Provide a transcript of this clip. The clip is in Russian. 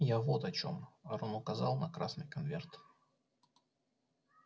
я вот о чём рон указал на красный конверт